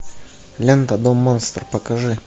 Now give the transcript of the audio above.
лента дом монстр покажи